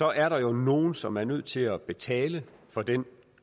er der nogle nogle som er nødt til at betale for den